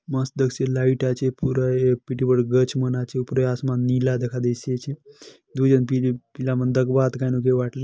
मस्त दकसी लाइट आचे पूरा ए पीटी बाड़ू गछ मन आचे पूरा आसमान नीला दका देसी अचे --